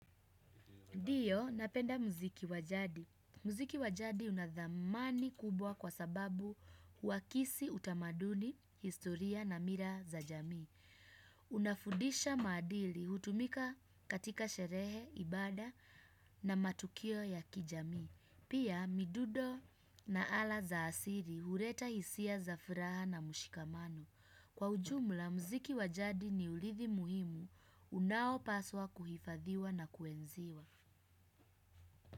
Ndiyo, napenda muziki wa jadi. Muziki wa jadi una dhamani kubwa kwa sababu huakisi utamaduni, historia na mira za jamii. Unafundisha maadili, hutumika katika sherehe, ibada na matukio ya kijamii. Pia, midundo na ala za asili, huleta hisia za furaha na mshikamano. Kwa ujumla, muziki wa jadi ni urithi muhimu unaopaswa kuhifadhiwa na kuenziwa.